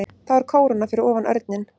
Þá er kóróna fyrir ofan örninn.